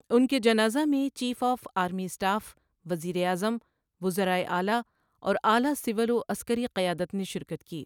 ان کے جنازہ میں چیف آف آرمی اسٹاف، وزیر اعظم، وزرائے اعلیٰ اور اعلیٰ سول و عسکری قیادت نے شرکت کی۔